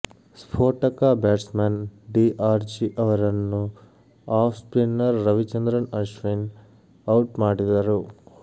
ಸ್ಫೋಟಕ batsman D'Arcy ಅವರನ್ನು off spinner Ravichandran Ashwin out ಮಾಡಿದರು